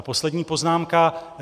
A poslední poznámka.